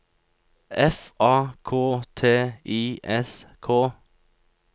F A K T I S K